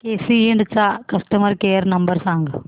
केसी इंड चा customer care number सांग